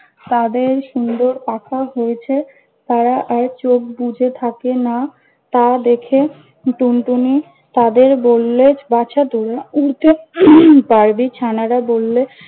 তাদের সুন্দর পাখা হয়েছে। তারা আর চোখ বুজে থাকে না, তা দেখে টুনটুনি তাদের বললে- বাছা তোরা উড়তে পারবি? ছানারা বললে,